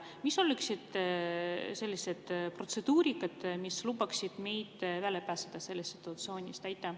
Mis oleks see protseduur, mis lubaks meil välja pääseda sellest situatsioonist?